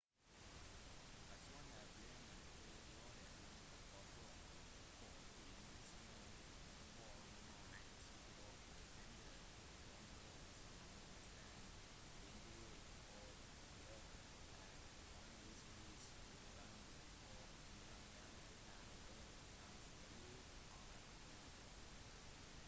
kasinoer pleier å gjøre mange forsøk for å maksimere hvor mye tid og penger som brukes av gjestene vinduer og klokker er vanligvis fraværende og utgangene kan være vanskelig å finne